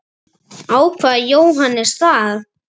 Ákvað Jóhannes það?